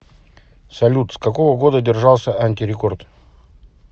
салют с какого года держался антирекорд